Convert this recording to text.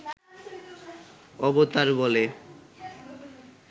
অবতার বলে